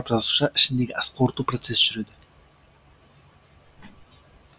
жасуша ішіндегі асқорыту процесі жүреді